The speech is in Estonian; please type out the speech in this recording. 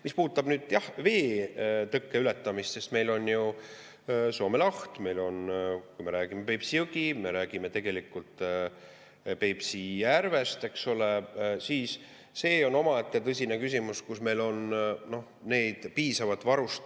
Mis puudutab veetõkke ületamist, sest meil on ju Soome laht, me räägime tegelikult Peipsi järvest, eks ole, siis see on omaette tõsine küsimus, kas meil on piisavalt varustust.